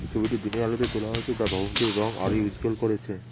ছবিটি দিনের আলোতে তোলা হয়েছে যা ভবনটির রঙ আরোই উজ্জ্বল করেছে।